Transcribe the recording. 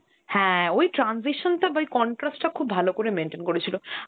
হ্যাঁ, ওই transition টা বা ওই contrast টা খুব ভালো করে maintain করেছিল.